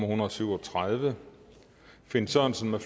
hundrede og syv og tredive finn sørensen